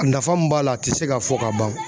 A nafa min b'a la a tɛ se ka fɔ ka ban.